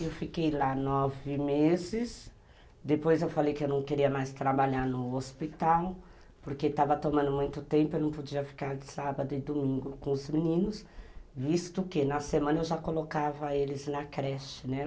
Eu fiquei lá nove meses, depois eu falei que eu não queria mais trabalhar no hospital, porque estava tomando muito tempo, eu não podia ficar de sábado e domingo com os meninos, visto que na semana eu já colocava eles na creche, né?